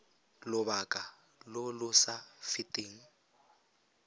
lobaka lo lo sa feteng